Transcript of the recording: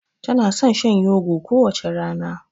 Tana son shan yogo kowace rana.